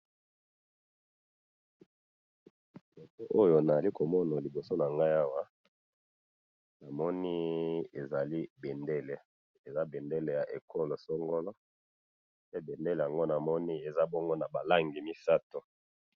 photo oyo nazali komona liboso nangai awa, namoni ezali bendele, eza bendele ya ekolo songolo, pe bendele yango namoni eza bongo naba langi misatu